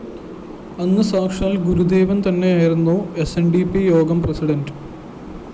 അന്ന് സാക്ഷാല്‍ ഗുരുദേവന്‍തന്നെ ആയിരുന്നു സ്‌ ന്‌ ഡി പി യോഗം പ്രസിഡന്റ്